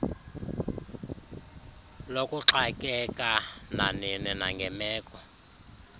lokuxakeka nanini nangemeko